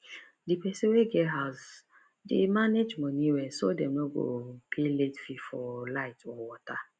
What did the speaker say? the person wey get house dey manage money well so dem no go pay late fee for light or water